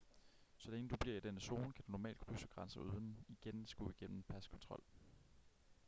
så længe du bliver i denne zone kan du normalt krydse grænser uden igen at skulle igennem paskontrol